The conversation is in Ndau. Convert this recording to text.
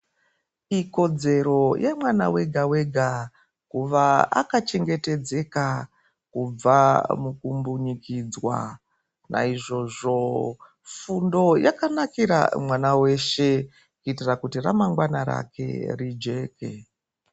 Ikodzero yemwana wega-wega kuva akachengetedzwa kubva mukumbunyikidzwa. Naizvozvo fundo yakanakira mwana weshe kuitira kuti ramangwana rake rijeke.